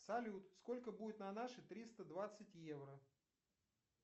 салют сколько будет на наши триста двадцать евро